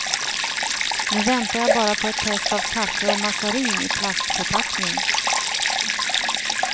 Nu väntar jag bara på ett test av kaffe och mazarin i plastförpackning.